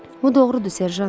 Bu doğrudur, serjant.